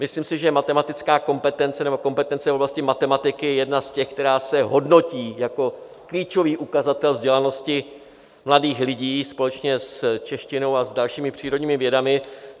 Myslím si, že matematická kompetence nebo kompetence v oblasti matematiky je jedna z těch, která se hodnotí jako klíčový ukazatel vzdělanosti mladých lidí společně s češtinou a s dalšími přírodními vědami.